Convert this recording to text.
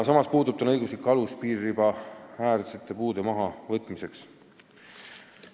Samas puudub õiguslik alus piiriribaäärsete puude mahavõtmiseks.